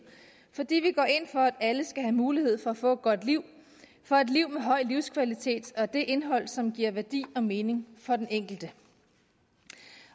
fordi vi går ind for at alle skal have mulighed for at få et godt liv for et liv med en høj livskvalitet og det indhold som giver værdi og mening for den enkelte